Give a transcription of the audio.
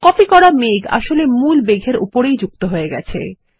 copy করা মেঘ আসলে মূল মেঘ এর উপরেই যুক্ত হয়ে গেছে160